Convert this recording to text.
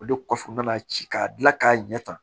O de kɔfɛ n nana ci ka kila k'a ɲɛ tan